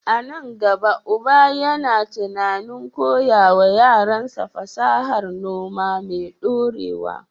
A nan gaba, uba yana tunanin koya wa yaransa fasahar noma mai ɗorewa.